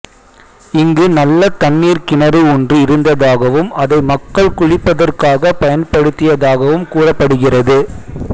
இங்கு நல்ல தண்ணீர் கிணறு ஒன்று இருந்த தாகவும் அதை மக்கள் குளிப்பதற்காக பயன்படுத்தியதாகவும் கூறப்படுகிறது